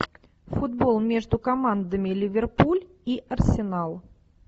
футбол между командами ливерпуль и арсенал